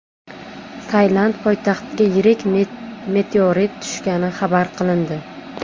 Tailand poytaxtiga yirik meteorit tushgani xabar qilindi.